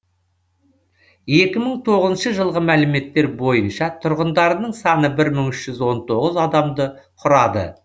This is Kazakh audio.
екі мың тоғызыншы жылғы мәліметтер бойынша тұрғындарының саны бір мың үш жүз он тоғыз адамды құрады